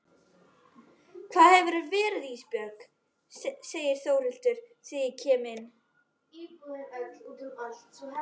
Hvar hefurðu verið Ísbjörg, segir Þórhildur þegar ég kem inn.